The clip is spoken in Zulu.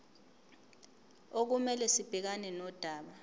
okumele sibhekane nodaba